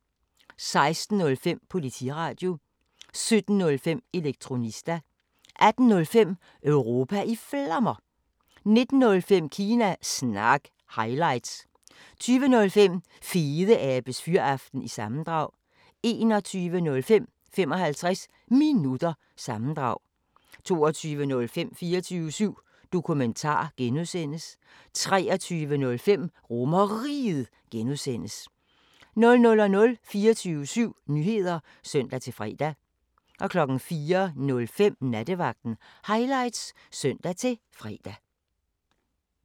16:05: Politiradio 17:05: Elektronista 18:05: Europa i Flammer 19:05: Kina Snak – highlights 20:05: Fedeabes Fyraften - sammendrag 21:05: 55 Minutter – sammendrag 22:05: 24syv Dokumentar (G) 23:05: RomerRiget (G) 00:00: 24syv Nyheder (søn-fre) 04:05: Nattevagten Highlights (søn-fre)